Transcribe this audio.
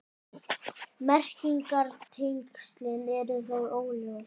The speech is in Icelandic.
Merkingartengslin eru þó óljós.